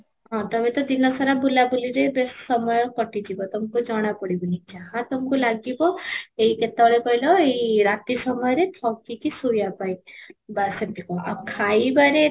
ହଁ, ତମେ ତ ଦିନ ସାରା ବୁଲା ବୁଲିରେ ସମୟ କାଟି ଯିବ ତମକୁ ଜଣା ପଡିବ ନି ଯାହା ତମକୁ ଲାଗିବ ଏଇ କେତେବେଳେ କହିଲ ଏଇ ରାତି ସମୟରେ ଥକି କି ଶୋଇବା ପାଇଁ, ବାସ ଆଉ ଖାଇବାରେ